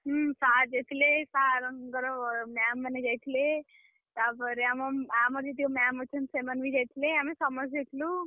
ହୁଁ sir ଯାଇଥିଲେ sir ଙ୍କର ma'am ମାନେ ଯାଇଥିଲେ। ତାପରେ ଆମ ଆମର ଯେତିକ ma'am ଅଛନ୍ତି ସେମାନେ ବି ଯାଇଥିଲେ। ଆମେ ସମସ୍ତେ ଯାଇଥିଲୁ।